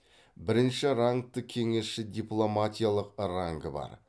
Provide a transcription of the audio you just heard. бірінші рангты кеңесші дипломатиялық рангы бар